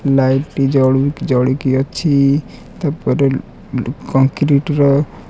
ଲାଇଟି ଜଳୁ ଜଳିକି ଅଛି ତା ପରେ କଂକ୍ରିଟ ର--